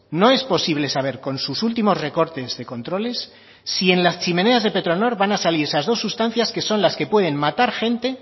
no es posible saber con sus últimos recortes de controles si en las chimeneas de petronor van a salir esas dos sustancias que son las que pueden matar gente